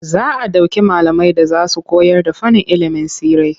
Za a ɗauki malamai da za su koyarda fannin ilimin tsirrai.